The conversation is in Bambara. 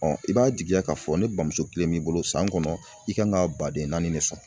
i b'a jigiya k'a fɔ ne bamuso kilen b'i bolo san kɔnɔ i kan ka baden naani de sɔrɔ